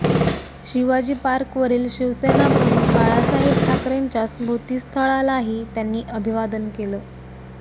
शिवाजी पार्कवरील शिवसेनाप्रमुख बाळासाहेब ठाकरेंच्या स्मृतीस्थळालाही त्यांनी अभिवादन केलं